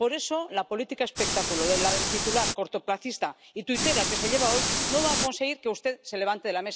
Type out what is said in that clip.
Por eso la política espectáculo, la del titular cortoplacista y tuitera que se lleva hoy, no va a conseguir que usted se levante de la mesa y yo...